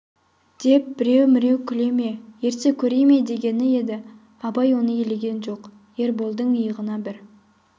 деп біреу-міреу күле ме ерсі көре ме дегені еді абай оны елеген жоқ ерболдың иығына бір